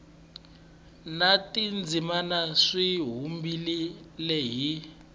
na tindzimana swi vumbiwile hi